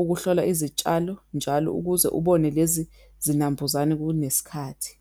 ukuhlola izitshalo njalo ukuze ubone lezi zinambuzane kunesikhathi.